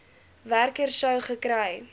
werker sou gekry